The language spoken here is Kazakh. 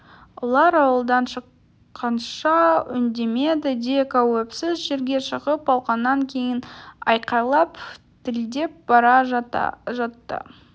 олар ауладан шыққанша үндемеді де қауіпсіз жерге шығып алғаннан кейін айқайлап тілдеп бара жатты